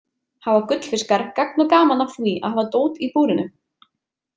Hafa gullfiskar gagn og gaman af því að hafa dót í búrinu?